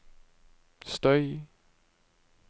støy